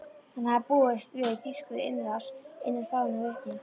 Hann hafði búist við þýskri innrás innan fáeinna vikna.